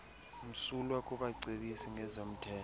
msulwa kubacebisi ngezomthetho